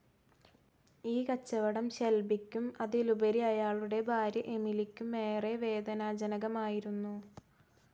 ഈ കച്ചവടം ഷെൽബിയ്ക്കും, അതിലുപരി അയാളുടെ ഭാര്യ എമിലിക്കും ഏറെ വേദനാജനകമായിരുന്നു.